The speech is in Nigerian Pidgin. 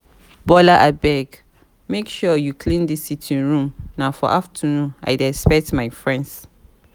bola abeg make sure you clean dis sitting room na for afternoon i dey expect my friends